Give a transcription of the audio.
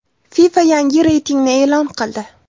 FIFA yangi reytingni e’lon qildi.